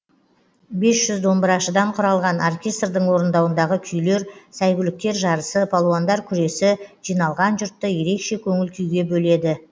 бес жүз домбырашыдан құралған оркестрдің орындауындағы күйлер сәйгүліктер жарысы палуандар күресі жиналған жұртты ерекше көңіл күйге бөледі